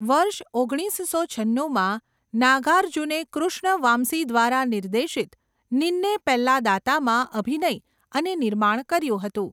વર્ષ ઓગણીસસો છન્નુંમાં, નાગાર્જુને કૃષ્ણ વામ્સી દ્વારા નિર્દેશિત 'નિન્ને પેલ્લાદાતા'માં અભિનય અને નિર્માણ કર્યું હતું.